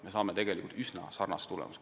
Me saame üsna sarnase tulemuse.